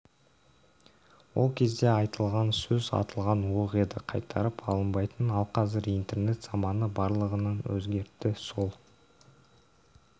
ол кезде айтылған сөз атылған оқ еді қайтарып алынбайтын ал қазір интернет заманы барлығын өзгертті сол